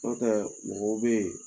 tɛ mɔgɔw bɛ ye